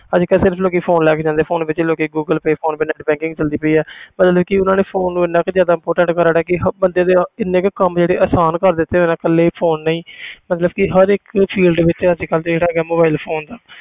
ਅੱਜ ਕੱਲ੍ਹ ਸਿਰਫ਼ ਲੋਕੀ phone ਲੈ ਕੇ ਜਾਂਦੇ ਆ phone ਵਿੱਚ ਲੋਕੀ Google Pay PhonePe net banking ਚੱਲਦੀ ਪਈ ਆ ਮਤਲਬ ਕਿ ਉਹਨਾਂ ਨੇ phone ਨੂੰ ਇੰਨਾ ਕੁ ਜ਼ਿਆਦਾ ਕਿ ਹ~ ਬੰਦੇ ਦੇ ਇੰਨੇ ਕੁ ਕੰਮ ਜਿਹੜੇ ਆਸਾਨ ਕਰ ਦਿੱਤੇ ਹੋਏ ਆ ਇਕੱਲੇ phone ਨੇ ਹੀ ਮਤਲਬ ਕਿ ਹਰ ਇੱਕ field ਵਿੱਚ ਅੱਜ ਕੱਲ੍ਹ ਜਿਹੜਾ ਹੈਗਾ mobile phone ਦਾ